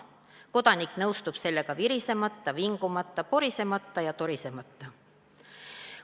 Kodanik nõustub sellega virisemata, vingumata, porisemata ja torisemata.